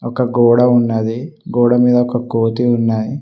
ఇంకా గోడ ఉన్నది గోడ మీద ఒక కోతి ఉన్నది.